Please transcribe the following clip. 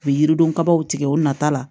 U bɛ yirido kabaw tigɛ o nata la